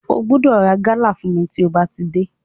Ó gbọ́dọ̀ ra gálà fún mi tí ó bá ti dé.